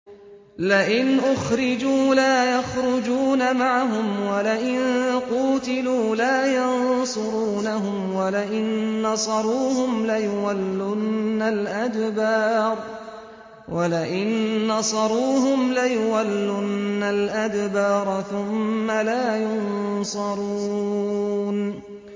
لَئِنْ أُخْرِجُوا لَا يَخْرُجُونَ مَعَهُمْ وَلَئِن قُوتِلُوا لَا يَنصُرُونَهُمْ وَلَئِن نَّصَرُوهُمْ لَيُوَلُّنَّ الْأَدْبَارَ ثُمَّ لَا يُنصَرُونَ